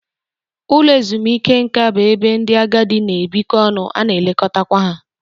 Ụlọ ezumike nka bụ ebe ndị agadi na-ebikọ ọnụ, a na-elekọtakwa ha